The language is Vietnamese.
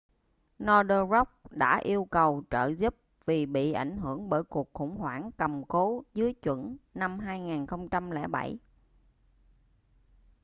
northern rock đã yêu cầu trợ giúp vì bị ảnh hưởng bởi cuộc khủng hoảng cầm cố dưới chuẩn năm 2007